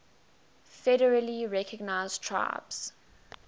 federally recognized tribes